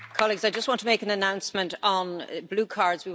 Colleagues, I just want to make an announcement on blue cards.